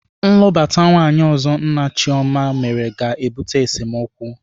Nlụbata nwaanyị ọzọ nna Chioma mere ga-ebute esemokwu.